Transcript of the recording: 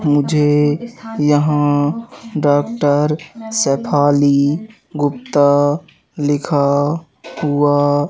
मुझे यहां डॉक्टर शेफाली गुप्ता लिखा हुआ--